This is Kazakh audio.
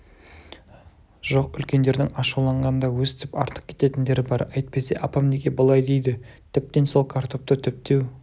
жоқ үлкендердің ашуланғанда өстіп артық кететіндері бар әйтпесе апам неге бұлай дейді тіптен сол картопты түптеу